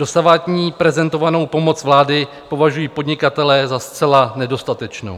Dosavadní prezentovanou pomoc vlády považují podnikatelé za zcela nedostatečnou.